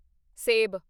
ਸੇਬ